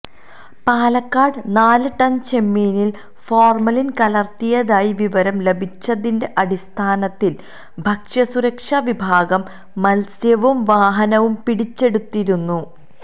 പാലക്കാട് നാല് ടണ് ചെമ്മീനില് ഫോര്മലിന് കലര്ത്തിയതായി വിവരം ലഭിച്ചതിന്റെ അടിസ്ഥാനത്തില് ഭക്ഷ്യസുരക്ഷ വിഭാഗം മത്സ്യവും വാഹനവും പിടിച്ചെടുത്തിരുന്നു